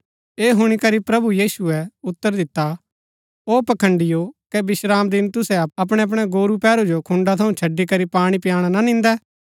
ऐह हुणी करी प्रभु यीशुऐ उतर दिता ओ पखंड़ीयो कै विश्रामदिन तुसै अपणैअपणै गोरू पैहरू जो खुन्‍डा थऊँ छड़ी करी पाणी पयाणा ना निन्दै